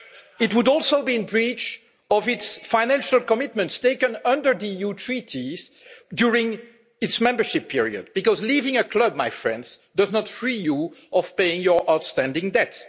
It would also be in breach of its financial commitments taken under the EU Treaties during its membership period, because leaving a club, my friends, does not free you from paying your outstanding debt.